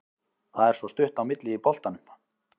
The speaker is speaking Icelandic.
Það er svo stutt á milli í boltanum.